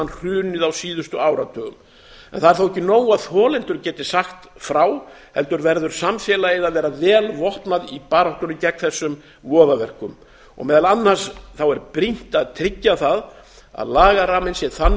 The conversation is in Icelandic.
hrunið á síðustu áratugum en það er þó ekki nóg að þolendur geti sagt frá heldur verður samfélagið að vera vel vopnað í baráttunni gegn þessum voðaverkum og meðal annars er brýnt að tryggja það að lagaramminn sé þannig